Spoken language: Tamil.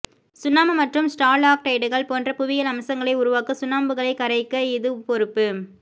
சுண்ணாம்பு மற்றும் ஸ்டாலாக்டைட்டுகள் போன்ற புவியியல் அம்சங்களை உருவாக்க சுண்ணாம்புகளை கரைக்க இது பொறுப்பு